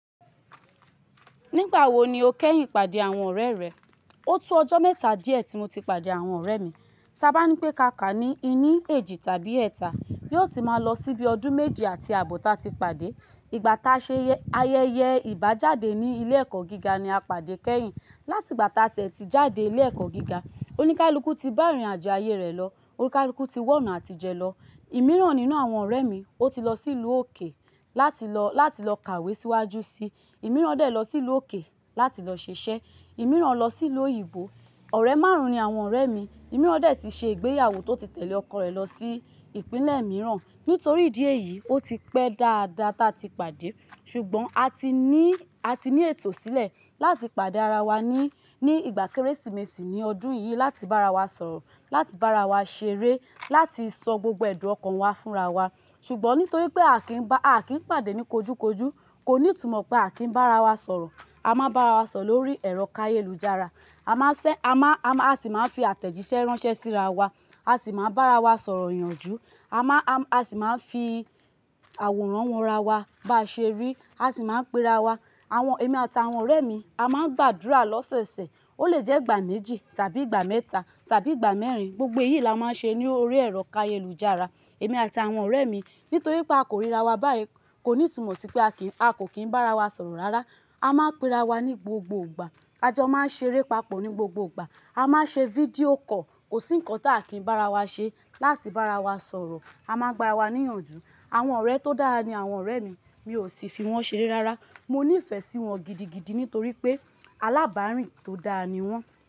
Nígbà wo ni o kẹ́yìn pàdé àwọn ọ̀rẹ́ rẹ? O too ọjọ́ mẹ́ta díẹ̀ tí mo ti pàdé àwọn ọ̀rẹ́ mi. Taa bá ní pe ká kàá ní ìní èjì tàbí ẹ́tà, yóò ti máa lọ sí bí ọdún méje àti àbọ̀ ta ti pàdé. Ìgbà tá a ṣe ayẹyẹ ìbàjádé ni ilé ẹ̀kọ́ gíga ni a pàdé kẹ́yìn. Lati ìgbà ti a tiẹ̀ ti jáde ilé ẹ̀kọ́ gíga, oníkálukú ti bá ìrìnàjò ayé rẹ̀ lọ. Oníkálukú ti wọ̀nù àti jẹ lọ. Ìmíràn nínú àwọn ọ̀rẹ́ mi, o ti lọ sí ìlú òkè láti lọ, láti lọ kàwé síwájú si. Ìmíràn dẹ̀ lọ sí ìlú òkè láti lọ ṣiṣẹ́. Ìmíràn lọ sí ìlú òyìnbó. Ọ̀rẹ́ márùn-ún ni àwọn ọ̀rẹ́ mi. Ìmíràn dẹ̀ ti ṣe ìgbéyàwó tó ti tẹ̀lé ọkọ rẹ̀ lọ sí ìpínlẹ̀ mìíràn. Nítorí ìdí èyí, o ti pẹ́ dáadáa ta ti pàdé. Ṣùgbọ́n a ti ní, a ti ní ètò sílẹ̀ láti pàdé ara wa ní, ní ìgbà Kérésìmesì ní ọdún yìí láti bá ara wa sọ̀rọ̀, láti bá ara wa ṣeré, láti sọ gbogbo ẹ̀dọ̀ọ́kọ̀ wa fúnra wa. Ṣùgbọ́n nítorí pé a kì í bá, a kì í pàdé ní ojúkojú, kò ní tùmọ̀ pé a kì í bá ara wa sọ̀rọ̀. A máa bá ara wa sọ̀rọ̀ lórí ẹ̀rọ ayélújára. A máa ṣẹ, a máa, a máa, a sì máa ń fi àtẹ̀jíṣẹ́ ránṣẹ́ síra wa. A sì máa ń bá ara wa sọ̀rọ̀ ìyànjú. A máa, a sì máa ń fi àwòrán họn ra wa bá ṣe ri. A sì máa ń pe ara wa. Àwọn, èmi àti àwọn ọ̀rẹ́ mi, a máa ń gbàdúrà lọ́sẹ̀osẹ̀. Ó lè jẹ́ ìgbà méjì tàbí ìgbà mẹ́ta tàbí ìgbà mẹ́rin. Gbogbo èyí la máa ń ṣe ní orí ẹ̀rọ ayélújára. Èmi àti àwọn ọ̀rẹ́ mi. Nítorí pé a kò ríra wa báyìí, kò ní tùmọ̀ sí pé a kì í, a kò kí ń bá ara wa sọ̀rọ̀ rárá. A máa ń pe ara wa ní gbogbo ìgbà. A jọ máa ń ṣeré papọ̀ ní gbogbo ìgbà. A máa ń ṣe fídíò call. Kò sí ǹkan táa kì í bá ara wa ṣe láti bá ara wa sọ̀rọ̀. A máa n gba ara wa níyànjú. Àwọn ọ̀rẹ́ tó dára ni àwọn ọ̀rẹ́ mi. Mi ò sì fi wọ́n ṣeré rárá. Mo ní ìfẹ́ sí wọn gidigidi nítorí pé alábàárìn tó dára ni wọ́n.